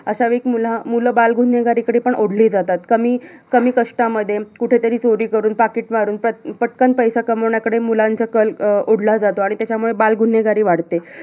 अशावेळी मग मुलं, बालगुन्हेगारीकडे पण ओढली जातात. कमी, कमी कष्टामध्ये कुठेतरी चोरी करून पाकीट मारून पटकन पैसा कमावण्याकडे मुलांचा कल अं ओढला जातो. त्यामुळे बालगुन्हेगारी वाढते.